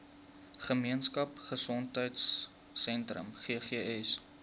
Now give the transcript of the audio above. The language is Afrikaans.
gemeenskap gesondheidsentrum ggs